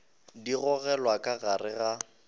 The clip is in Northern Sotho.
di gogelwa ka gare ga